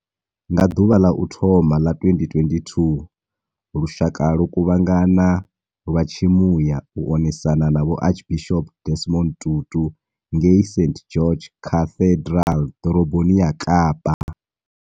Nga ḓuvha ḽa u thoma ḽa 2022, lushaka lwo kuvhanga na lwa tshimuya u onesana na Vho Archbishop Desmond Tutu ngei St George Cathedral Ḓoroboni ya kapa.